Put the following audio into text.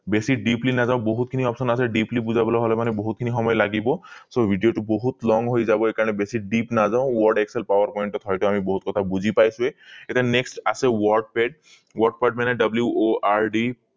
বেছি deeply নাজাও বহুত খিনি options আছে deeply বুজাবলৈ হলে মনে বহুত খিনি সময় লাগিব so video টো বহুত long হৈ যাব এই কাৰণে বেছি deep নাজাও word excel power point ত হয়তো আমি বহুত কথা বুজি পাইছোৱেই এতিয়া next আছে wordpad wordpad মানে word